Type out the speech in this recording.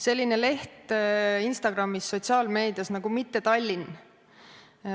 Selline leht on Instagramis, sotsiaalmeedias, nagu mitte_tallinn.